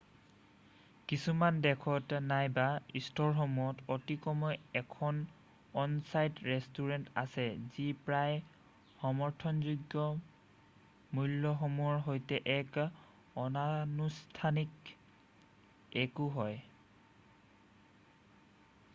কিছুমান দেশত নাইবা ষ্ট'ৰসমূহত অতিকমেও 1 খন অন-ছাইট ৰেষ্টুৰেন্ট আছে যি প্ৰায়েই সামৰ্থযোগ্য মূ্ল্যসমূহৰ সৈতে এক অনানুষ্ঠানিক 1ও হয়৷